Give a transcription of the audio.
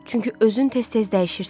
Çünki özün tez-tez dəyişirsən.